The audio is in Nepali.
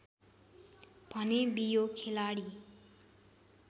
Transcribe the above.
भने बियो खेलाडी